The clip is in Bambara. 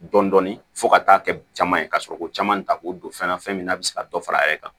Dɔnni fo ka taa kɛ caman ye ka sɔrɔ ko caman ta k'o don fɛn na fɛn min na a bɛ se ka dɔ far'a yɛrɛ kan